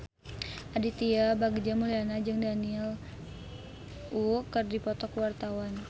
Aditya Bagja Mulyana jeung Daniel Wu keur dipoto ku wartawan